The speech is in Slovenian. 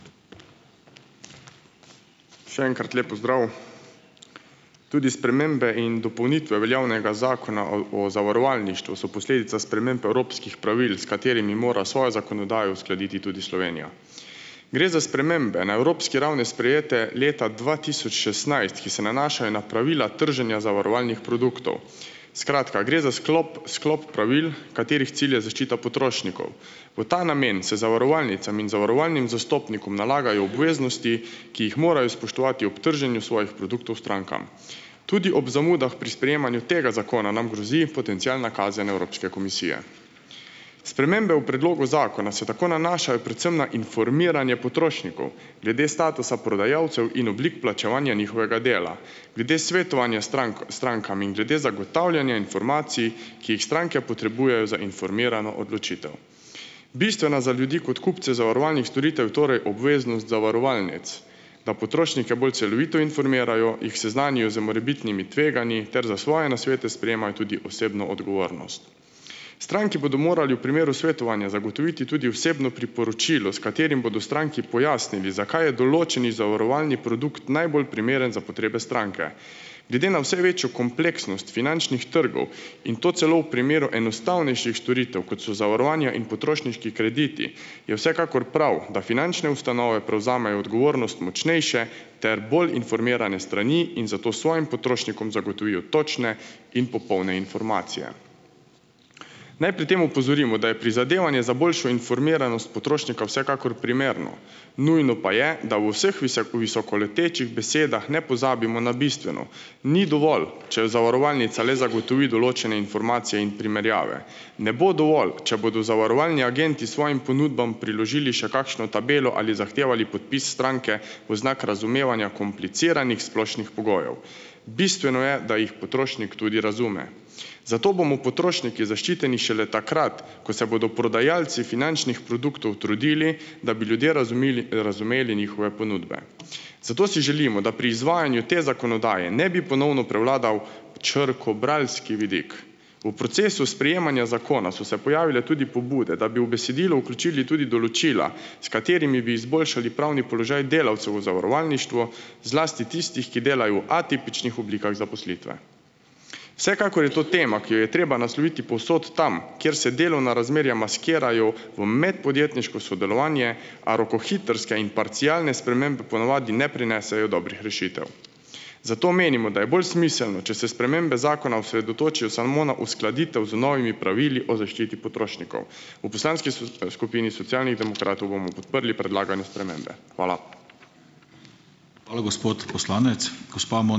Še enkrat lep pozdrav. Tudi spremembe in dopolnitve veljavnega Zakona o zavarovalništvu so posledica sprememb evropskih pravil, s katerimi mora svojo zakonodajo uskladiti tudi Slovenija. Gre za spremembe na evropski ravni, sprejete leta dva tisoč šestnajst, ki se nanašajo na pravila trženja zavarovalnih produktov. Skratka, gre za sklop sklop pravil, katerih cilj je zaščita potrošnikov. V ta namen se zavarovalnicam in zavarovalnim zastopnikom nalagajo obveznosti, ki jih morajo spoštovati ob trženju svojih produktov strankam. Tudi ob zamudah pri sprejemanju tega zakona nam grozi potencialna kazen Evropske komisije. Spremembe v predlogu zakona se tako nanašajo predvsem na informiranje potrošnikov, glede statusa prodajalcev in oblik plačevanja njihovega dela. Glede svetovanja strankam in glede zagotavljanja informacij, ki jih stranke potrebujejo za informirano odločitev. Bistvena za ljudi kot kupce zavarovalnih storitev, je torej obveznost zavarovalnic, da potrošnike bolj celovito informirajo, jih seznanijo z morebitnimi tveganji ter za svoje nasvete sprejemajo tudi osebno odgovornost. Stranki bodo morali v primeru svetovanja zagotoviti tudi osebno priporočilo, s katerim bodo stranki pojasnili, zakaj je določeni zavarovalni produkt najbolj primeren za potrebe stranke. Glede na vse večjo kompleksnost finančnih trgov in to celo v primeru enostavnejših storitev, kot so zavarovanja in potrošniški krediti, je vsekakor prav, da finančne ustanove prevzamejo odgovornost močnejše ter bolj informirane strani in zato svojim potrošnikom zagotovijo točne in popolne informacije. Naj pri tem opozorimo, da je prizadevanje za boljšo informiranost potrošnika vsekakor primerno, nujno pa je, da v vseh visokoletečih besedah ne pozabimo na bistveno, ni dovolj, če zavarovalnica le zagotovi določene informacije in primerjave, ne bo dovolj, če bodo zavarovalni agenti svojim ponudbam priložili še kakšno tabelo ali zahtevo ali podpis stranke v znak razumevanja kompliciranih splošnih pogojev. Bistveno je, da jih potrošnik tudi razume. Zato bomo potrošniki zaščiteni šele takrat, ko se bodo prodajalci finančnih produktov trudili, da bi ljudje razumili, razumeli njihove ponudbe. Zato si želimo, da pri izvajanju te zakonodaje ne bi ponovno prevladal črkobralski vidik. V procesu sprejemanja zakona so se pojavile tudi pobude, da bi v besedilo vključili tudi določila, s katerimi bi izboljšali pravni položaj delavcev v zavarovalništvu, zlasti tistih, ki delajo v atipičnih oblikah zaposlitve. Vsekakor je to tema, ki jo je treba nasloviti povsod tam, kjer se delovna razmerja maskirajo v medpodjetniško sodelovanje, a rokohitrske in parcialne spremembe ponavadi ne prinesejo dobrih rešitev. Zato menimo, da je bolj smiselno, če se spremembe zakona osredotočijo samo na uskladitev z novimi pravili o zaščiti potrošnikov. V poslanski skupini Socialnih demokratov bomo podprli predlagane spremembe. Hvala.